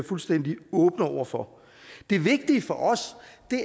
fuldstændig åbne over for det vigtige for os